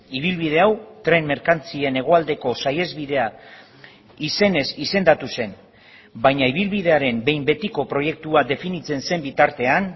ibilbide hau tren merkantzien hegoaldeko saihesbidea izenez izendatu zen baina ibilbidearen behin betiko proiektua definitzen zen bitartean